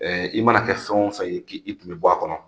I mana kɛ fɛn wo fɛn ye k'i tun bɛ bɔ a kɔnɔ.